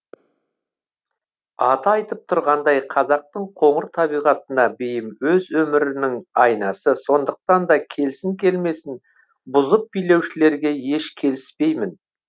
аты айтып тұрғандай қазақтың қоңыр табиғатына бейім өз өмірінің айнасы сондықтан да келсін келмесін бұзып билеушілерге еш келіспеймін